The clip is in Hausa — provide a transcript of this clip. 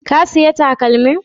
Ka saya takalmin?